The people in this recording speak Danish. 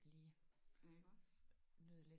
Ja iggås?